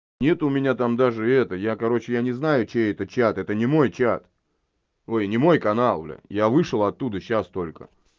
нет у меня там даже это я короче я не знаю чей это чат это не мой чат ой не мой канал бля я вышел оттуда сейчас только